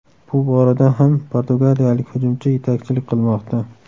Bu borada ham portugaliyalik hujumchi yetakchilik qilmoqda.